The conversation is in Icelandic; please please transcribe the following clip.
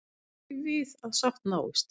Býst ekki við að sátt náist